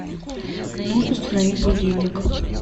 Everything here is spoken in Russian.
нужно установить будильник